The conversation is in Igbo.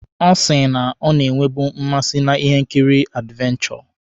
Ọ sị na ọ na-enwebu mmasị na ihe nkiri advenchọ.